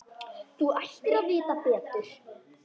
Þú ættir að vita betur!